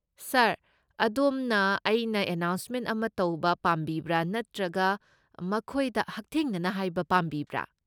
ꯁꯥꯔ, ꯑꯗꯣꯝꯅ ꯑꯩꯅ ꯑꯦꯅꯥꯎꯟꯁꯃꯦꯟꯠ ꯑꯃ ꯇꯧꯕ ꯄꯥꯝꯕꯤꯕ꯭ꯔꯥ ꯅꯠꯇ꯭ꯔꯒ ꯃꯈꯣꯏꯗ ꯍꯛꯊꯦꯡꯅꯅ ꯍꯥꯏꯕ ꯄꯥꯝꯕꯤꯕ꯭ꯔꯥ?